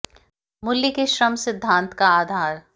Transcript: मूल्य के श्रम सिद्धांत का आधार